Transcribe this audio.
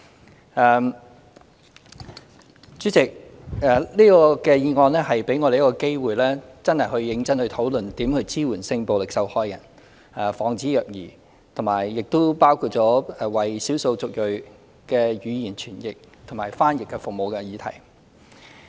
代理主席，這項議案給大家一個機會，認真討論如何支援性暴力受害人、防止虐兒，亦包括為少數族裔提供語言傳譯和翻譯服務的議題。